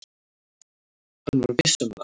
Hann var viss um það.